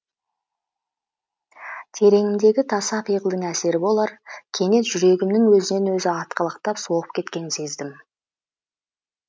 тереңімдегі таса пиғылдың әсері болар кенет жүрегімнің өзінен өзі атқалақтап соғып кеткенін сездім